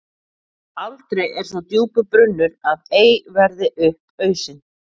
Aldrei er svo djúpur brunnur að ei verði upp ausinn.